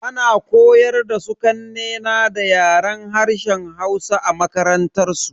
Ana koyar da su kanne na da Yaren harshen Hausa a makarantansu.